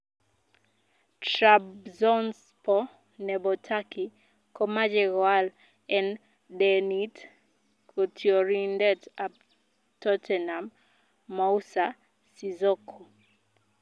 Trabzonspor nebo turkey komoche koal en denit, kotiorindet ap Tottenham Moussa Sissoko.